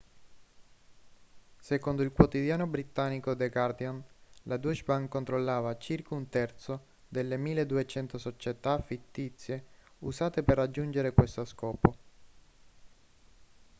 secondo il quotidiano britannico the guardian la deutsche bank controllava circa un terzo delle 1.200 società fittizie usate per raggiungere questo scopo